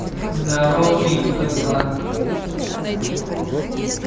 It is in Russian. здоровчик как дела